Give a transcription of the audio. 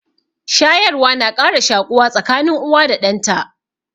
Shayarwa na ƙara shaƙuwa tsakanin uwa da ɗan ta.